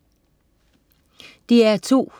DR2: